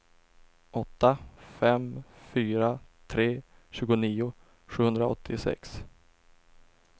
åtta fem fyra tre tjugonio sjuhundraåttiosex